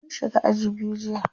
Mun shiga aji biyu jiya.